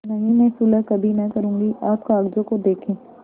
नहीं मैं सुलह कभी न करुँगी आप कागजों को देखें